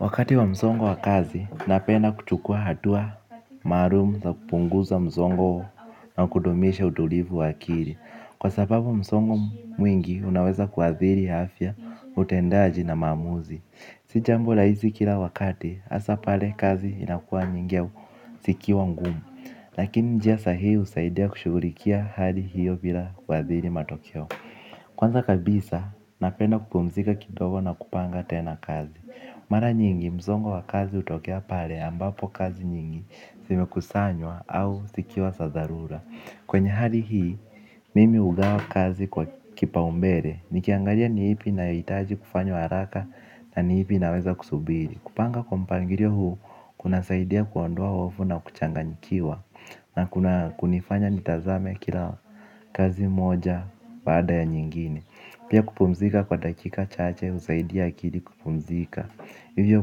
Wakati wa msongo wa kazi, napenda kuchukua hatua maalum za kupunguza msongo na kudumisha utulivu wa akili. Kwa sababu msongo mwingi unaweza kuathiri afya, utendaji na maamuzi. Si jambo rahisi kila wakati hasa pale kazi inakuwa nyingi au zikiwa ngumu. Lakini njia sahihi husaidia kushughulikia hali hiyo bila kuathiri matokeo. Kwanza kabisa napenda kupumzika kidogo na kupanga tena kazi. Mara nyingi msongo wa kazi hutokea pale ambapo kazi nyingi zimekusanywa au zikiwa za dharura. Kwenye hali hii mimi hugawa kazi kwa kipaumbele nikiangalia ni ipi inayohitaji kufanywa haraka na ni ipi inaweza kusubiri. Kupanga kwa mpangilio huu kunasaidia kuondoa hofu na kuchanganyikiwa. Na kunifanya nitazame kila kazi moja baada ya nyingine. Pia kupumzika kwa dakika chache husaidia akili kupumzika. Hivyo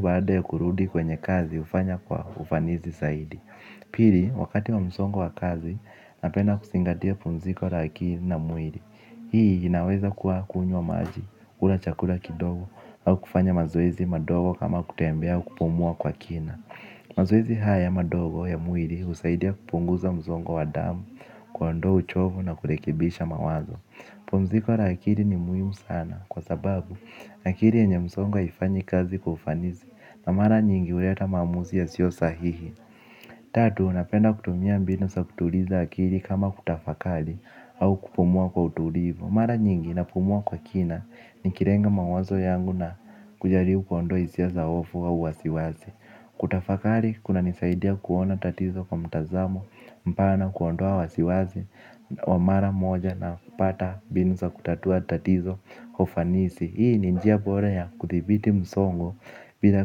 baada ya kurudi kwenye kazi hufanya kwa ufanisi zaidi. Pili, wakati wa msongo wa kazi, napenda kuzingatia pumziko la akili na mwili. Hii inaweza kuwa kunywa maji, kula chakula kidogo au kufanya mazoezi madogo kama kutembea au kupumua kwa kina. Mazoezi haya madogo ya mwili husaidia kupunguza msongo wa damu. Kuondoa uchovu na kurekebisha mawazo pumziko la akili ni muhimu sana kwa sababu akili yenye msongo haifanyi kazi kwa ufanisi. Na mara nyingi huleta maamuzi yasiyo sahihi. Tatu napenda kutumia mbinu za kutuliza akili kama kutafakari au kupumua kwa utulivu. Mara nyingi napumua kwa kina nikilenga mawazo yangu na kujaribu kuondoa hisia za hofu au wasiwasi. Kutafakari kunanisaidia kuona tatizo kwa mtazamo mpana, kuondoa wasiwasi wa mara moja na kupata mbinu za kutatua tatizo kwa ufanisi. Hii ni njia bora ya kudhibiti msongo bila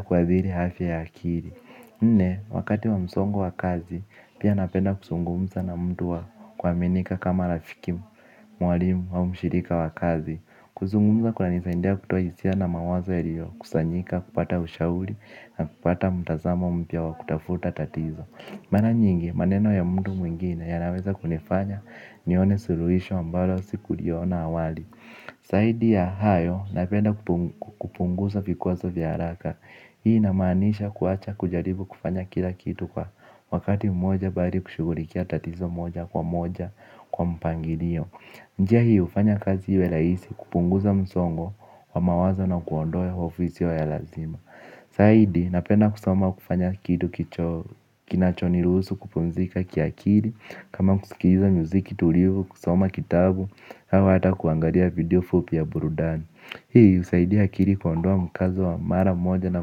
kuathiri afya ya akili wakati wa msongo wa kazi pia napenda kuzungumza na mtu wa kuaminika kama rafiki mwalimu au mshirika wa kazi. Kuzungumza kunanisaidia kutoa hisia na mawazo yaliyokusanyika, kupata ushauri na kupata mtazamo mpya wa kutafuta tatizo. Mara nyingi, maneno ya mtu mwingine yanaweza kunifanya nione suluisho ambalo sikuliona awali. Zaidi ya hayo napenda kupunguza vikwazo vya haraka. Hii inamaanisha kuacha kujaribu kufanya kila kitu kwa wakati mmoja bali kushughulikia tatizo moja kwa moja kwa mpangilio. Njia hii hufanya kazi iwe rahisi kupunguza msongo wa mawazo na kuondoa hofu isiyo ya lazima. Zaidi napenda kusoma au kufanya kitu kinachoniruhusu kupumzika kiakili kama kusikiliza muziki tulivu, kusoma kitabu au hata kuangalia video fupi ya burudani. Hii husaidia akili kuondoa mkazo wa mara moja na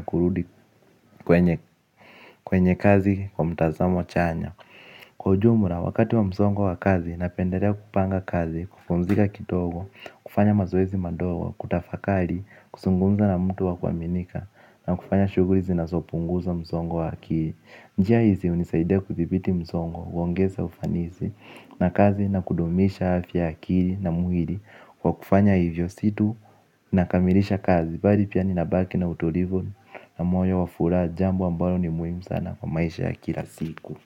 kurudi kwenye kwenye kazi kwa mtazamo chanya. Kwa ujumla, wakati wa msongo wa wa kazi, napendelea kupanga kazi, kupumzika kidogo, kufanya mazoezi madogo, kutafakari, kuzungumza na mtu wa kuaminika, na kufanya shughuli zinazopunguza msongo wa akili. Njia hizi hunisaidia kudhibiti msongo, huongeza ufanisi, na kazi, na kudumisha afya ya akili na mwili, kwa kufanya hivyo si tu nakamilisha kazi, bali pia ninabaki na utulivu, na moyo wa furaha, jambo ambalo ni muhimu sana kwa maisha ya kila siku.